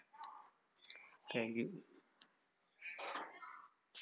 thank you